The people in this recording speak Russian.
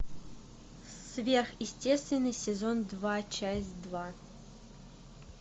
сверхъестественное сезон два часть два